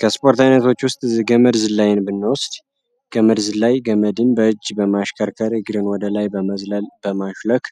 ከስፖርት አይነቶች ውስጥ ላይ ገመድም በእጅ በማሽከርከሪን ወደላይ በመዝሙር